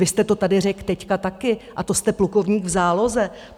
Vy jste to tady řekl teď taky, a to jste plukovník v záloze!